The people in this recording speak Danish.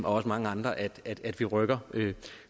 også mange andre at at vi rykker